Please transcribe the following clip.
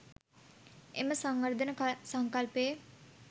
එම සංවර්ධන සංකල්පයේ